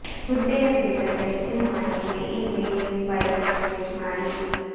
ಹುದ್ದೆಯ ಕುರಿತ್ತಂತೆ ಹೆಚ್ಚಿನ ಮಾಹಿತಿಗೆ ಈ ಪಿಡಿಎಫ್ ಫೈಲ್ ಮೇಲೆ ಕ್ಲಿಕ್ ಮಾಡಿ